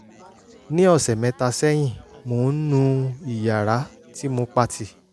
ní ọ̀sẹ̀ mẹ́ta sẹ́yìn mò ń nu ìyàrá tí mo pa tì